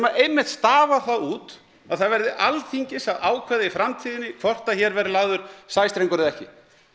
einmitt stafar það út að það verði Alþingis að ákveða það í framtíðinni hvort að hér verði lagður sæstrengur eða ekki